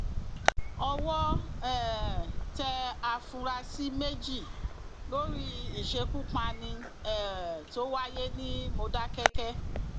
owó um tẹ àfúrásì méjì lórí ìṣekúpani um tó wáyé ní mòdákẹkí